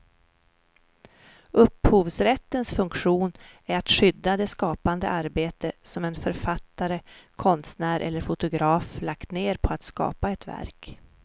Upphovsrättens funktion är att skydda det skapande arbete som en författare, konstnär eller fotograf lagt ned på att skapa ett verk.